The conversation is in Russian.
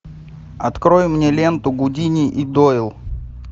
открой мне ленту гудини и дойл